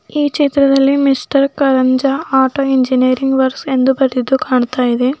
ಈ ಚಿತ್ರದಲ್ಲಿ mister Karanja auto engineering works ಎಂದು ಬರೆದಿದ್ದು ಕಾಣ್ತಾ ಇದೆ.